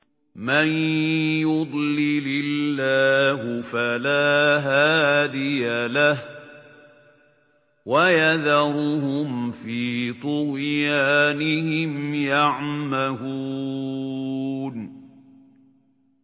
مَن يُضْلِلِ اللَّهُ فَلَا هَادِيَ لَهُ ۚ وَيَذَرُهُمْ فِي طُغْيَانِهِمْ يَعْمَهُونَ